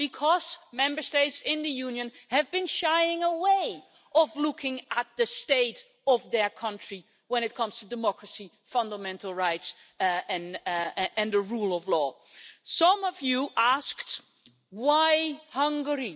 Because Member States in the Union have been shying away from looking at the state of their country when it comes to democracy, fundamental rights and the rule of law. Some speakers asked why Hungary?